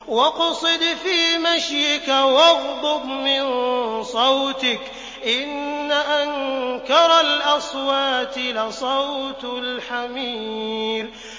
وَاقْصِدْ فِي مَشْيِكَ وَاغْضُضْ مِن صَوْتِكَ ۚ إِنَّ أَنكَرَ الْأَصْوَاتِ لَصَوْتُ الْحَمِيرِ